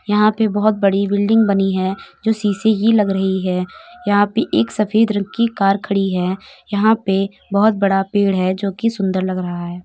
यहां पे बहुत बड़ी बिल्डिंग बनी है जो सी.सी ही लग रही है। यहां पे एक सफेद रंग की कार खड़ी है। यहां पे बहुत बड़ा पेड़ है जो की सुंदर लग रहा है।